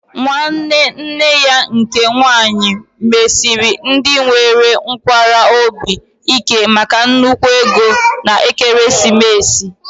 Nwanne nne ya nke nwaanyị mesiri ndị nwere nkwarụ obi ike maka nnukwu ego na ekeresimesi